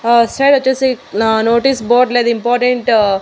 అటు సైడ్ వచ్చేసి నా నోటీస్ బోర్డ్ లో అది ఇంపార్టెంట్ .